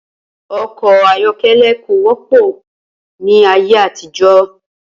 O̩kò̩ ayó̩ké̩lé̩ kò wó̩pò̩ ní ayé àtijó̩